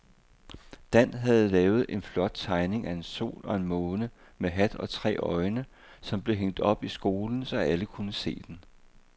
Dan havde lavet en flot tegning af en sol og en måne med hat og tre øjne, som blev hængt op i skolen, så alle kunne se den.